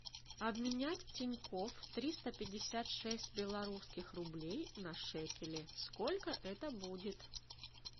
обменять в тинькофф триста пятьдесят шесть белорусских рублей на шекели сколько это будет